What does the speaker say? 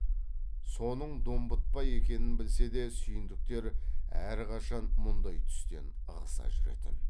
соның домбытпа екенін білсе де сүйіндіктер әрқашан мұндай түстен ығыса жүретін